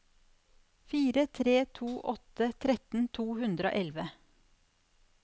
fire tre to åtte tretten to hundre og elleve